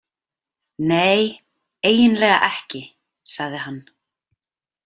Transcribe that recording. Nei, eiginlega ekki, sagði hann.